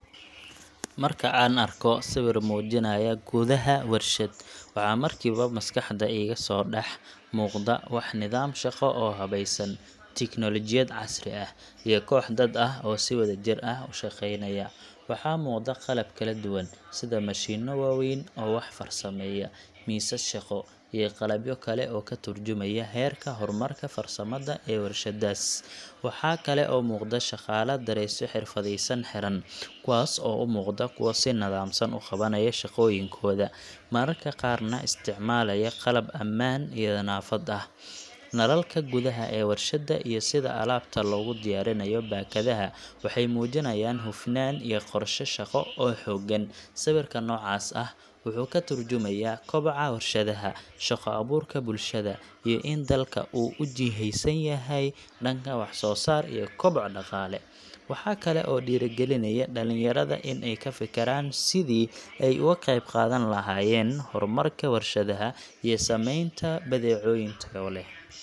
Marka aan arko sawir muujinaya gudaha warshad, waxa markiiba maskaxda iga soo dhex muuqda waa nidaam shaqo oo habaysan, tiknoolajiyad casri ah, iyo koox dad ah oo si wadajir ah u shaqeynaya. Waxaa muuqda qalab kala duwan, sida mashiinno waaweyn oo wax farsameeya, miisas shaqo, iyo qalabyo kale oo ka tarjumaya heerka horumarka farsamada ee warshaddaas. Waxaa kale oo muuqda shaqaale dareesyo xirfadaysan xiran, kuwaas oo u muuqda kuwo si nidaamsan u qabanaya shaqooyinkooda, mararka qaarna isticmaalaya qalab ammaan iyo nadaafad ah. Nalalka gudaha ee warshadda iyo sida alaabta loogu diyaarinayo baakadaha waxay muujinayaan hufnaan iyo qorshe shaqo oo xooggan. Sawir noocaas ah wuxuu ka tarjumayaa koboca warshadaha, shaqo abuurka bulshada, iyo in dalka uu u jihaysan yahay dhanka wax-soo-saar iyo koboc dhaqaale. Waxa kale oo uu dhiirrigelinayaa dhalinyarada in ay ka fikiraan sidii ay uga qeyb qaadan lahaayeen horumarka warshadaha iyo sameynta badeecooyin tayo leh.